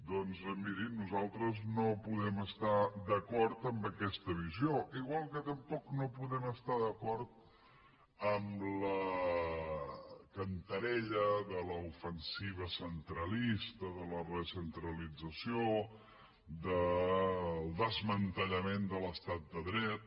doncs mirin nosaltres no podem estar d’acord en aquesta visió igual que tampoc no podem estar d’acord en la cantarella de la ofensiva centralista de la recentralització del desmantellament de l’estat de dret